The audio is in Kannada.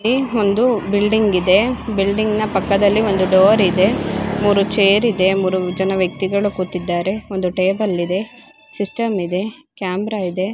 ಇಲ್ಲಿ ಒಂದು ಬಿಲ್ಡಿಂಗ್ ಇದೆ ಬಿಲ್ಡಿಂಗ್ ನ ಪಕ್ಕದಲ್ಲಿ ಒಂದು ಡೋರ್ ಇದೆ. ಮೂರು ಛೇರ್ ಇದೆ ಮೂರು ಜನ ವ್ಯಕ್ತಿಗಳು ಕೂತಿದ್ದಾರೆ ಒಂದು ಟೇಬಲ್ ಇದೆ ಸಿಸ್ಟಮ್ ಇದೆ ಕ್ಯಾಮೆರಾ ಇದೆ